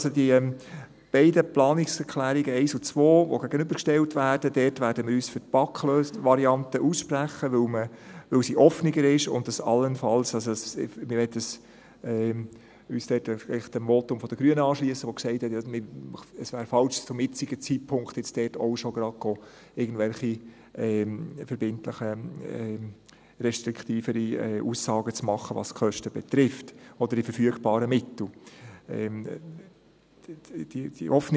Bei den beiden Planungserklärungen 1 und 2, die einander gegenübergestellt werden, werden wir uns für die BaK-Variante aussprechen, weil sie offener ist, und das «allenfalls» … Wir möchten uns dort eigentlich dem Votum der Grünen anschliessen, in dem gesagt wurde, es wäre zum jetzigen Zeitpunkt falsch, auch schon gerade irgendwelche verbindlichen, restriktiveren Aussagen zu machen, was die Kosten oder die verfügbaren Mittel betrifft.